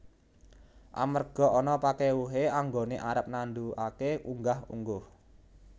Amarga ana pakèwuhé anggoné arep nandukaké unggah ungguh